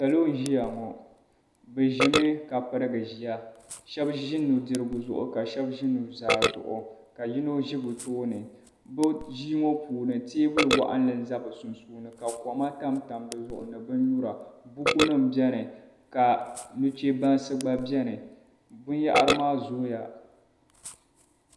Salo n-ʒia ŋɔ. Bɛ pirigimi ʒia. Shɛba ʒi nudirigu zuɣu ka shɛba ʒi nuzaa ka yino ʒi bɛ tooni. Bɛ ʒia ŋɔ puuni teebuli waɣinli n-za bɛ sunsuuni ka koma tamtam di zuɣu ni binnyura. Bukunima beni ka nuchɛbansi gba beni. Binyɛhari maa zooya.